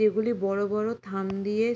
এগুলি বড়ো বড়ো থাম দিয়ে --